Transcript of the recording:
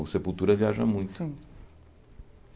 O Sepultura viaja muito. Sim